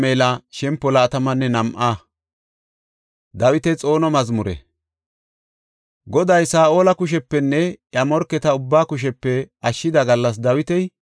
Goday Saa7ola kushepenne iya morketa ubbaa kushepe ashshida gallas Dawiti Godaas ha mazmuriya yexis.